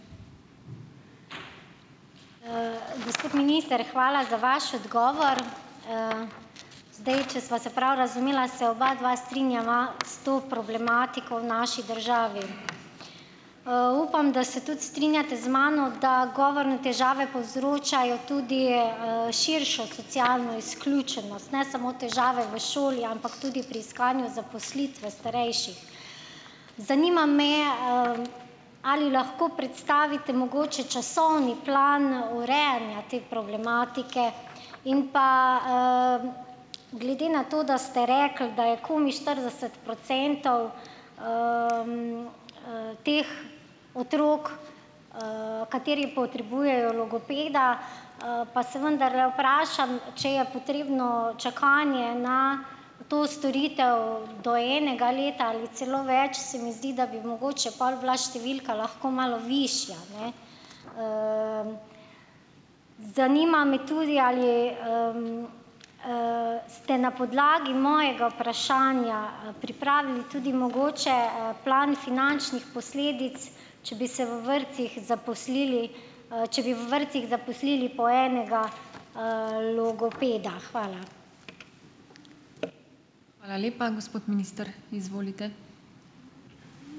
Gospod minister, hvala za vaš odgovor. Zdaj, če sva se prav razumela, se obadva strinjava s to problematiko v naši državi. Upam, da se tudi strinjate z mano, da govorne težave povzročajo tudi, širšo socialno izključenost. Ne samo težave v šoli, ampak tudi pri iskanju zaposlitve starejših. Zanima me, ali lahko predstavite mogoče časovni plan urejanja te problematike. In pa, glede na to, da ste rekli, da je komaj štirideset procentov, teh otrok, kateri potrebujejo logopeda, pa se vendarle vprašam, če je potrebno čakanje na to storitev do enega leta ali celo več. Se mi zdi, da bi mogoče pol bila številka lahko malo višja, ne. Zanima me tudi, ali, ste na podlagi mojega vprašanja, pripravili tudi mogoče, plan finančnih posledic, če bi v vrtcih zaposlili, če bi v vrtcih zaposlili po enega, logopeda. Hvala.